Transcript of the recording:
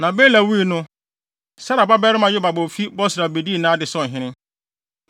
Na Bela wui no, Serah babarima Yobab a ofi Bosra bedii nʼade sɛ ɔhene.